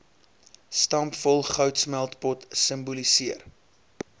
stampvol goudsmeltpot simboliseer